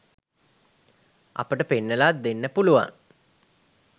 අපට පෙන්නලා දෙන්න පුළුවන්.